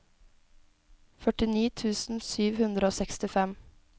førtini tusen sju hundre og sekstifem